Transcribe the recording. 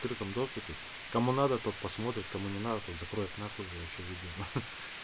там доступе кому надо тот посмотрит кому не надо тут закроет н вообще видео